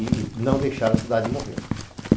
E não deixar a cidade morrer.